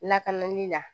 Lakanali la